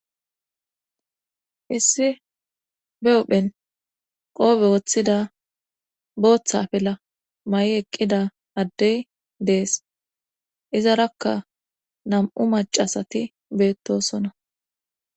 issi be huphen qoobe woththida booththafe la ma7i eqqida addey dees iza rakka nam'u macasati beettosona